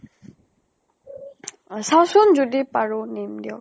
অ চাওচোন যদি পাৰো নম দিয়ক।